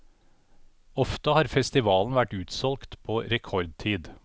Ofte har festivalen vært utsolgt på rekordtid.